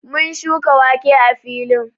Mun shuka wake a filin